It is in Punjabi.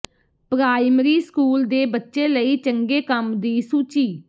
ਪ੍ਰਾਇਮਰੀ ਸਕੂਲ ਦੇ ਬੱਚੇ ਲਈ ਚੰਗੇ ਕੰਮ ਦੀ ਸੂਚੀ